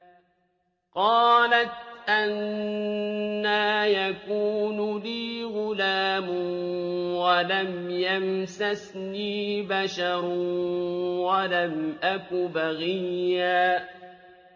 قَالَتْ أَنَّىٰ يَكُونُ لِي غُلَامٌ وَلَمْ يَمْسَسْنِي بَشَرٌ وَلَمْ أَكُ بَغِيًّا